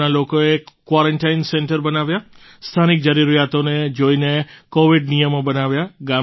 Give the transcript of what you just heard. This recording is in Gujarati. ગામના લોકોએ ક્વૉરન્ટાઇન સેન્ટર બનાવ્યાં સ્થાનિક જરૂરિયાતોને જોઈને કૉવિડ નિયમો બનાવ્યા